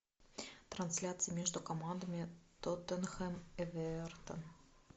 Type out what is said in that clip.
трансляция между командами тоттенхэм эвертон